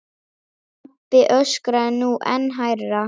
Pabbi öskraði nú enn hærra.